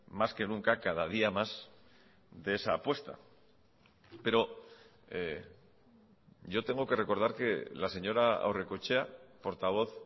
más que nunca cada día más de esa apuesta pero yo tengo que recordar que la señora aurrekoetxea portavoz